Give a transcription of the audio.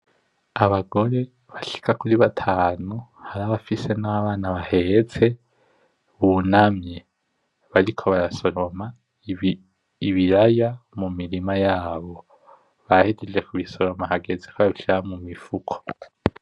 Abagore bashika kuri batanu hari nabafise abana baheste, bunamye bariko barasoroma ibiraya mu mirima yabo bahejeje kubisoroma hageze kobabishira mu mifuko.